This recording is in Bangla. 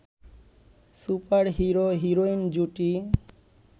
সুপার হিরো-হিরোইন জুটি